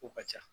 Kow ka ca